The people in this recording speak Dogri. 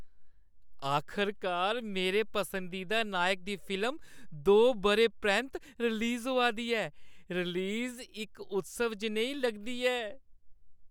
आखरकार, मेरे पसंदीदा नायक दी फिल्म दो बʼरें परैंत्त रिलीज होआ दी ऐ, रिलीज इक उत्सव जनेही लगदी ऐ।